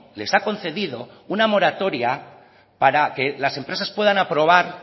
les ha concedido una moratoria para que las empresas puedan aprobar